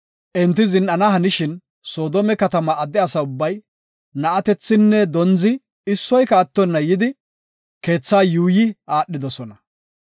Enti zin7ana hanishin Soodome katama adde asa ubbay na7atethinne dondzi issoyka attona yidi keethaa yuuyi aadhidosona.